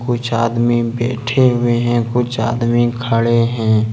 कुछ आदमी बैठे हुए हैं कुछ आदमी खड़े हैं।